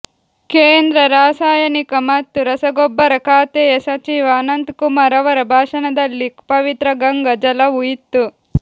ಕೇಂದ್ರ ರಾಸಾಯನಿಕ ಮತ್ತು ರಸಗೊಬ್ಬರ ಖಾತೆಯ ಸಚಿವ ಅನಂತಕುಮಾರ್ ಅವರ ಭಾಷಣದಲ್ಲಿ ಪವಿತ್ರ ಗಂಗಾ ಜಲವೂ ಇತ್ತು